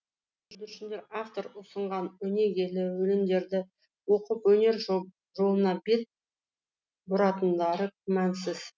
бүлдіршіндер автор ұсынған өнегелі өлеңдерді оқып өнер жолына бет бұратындары күмәнсіз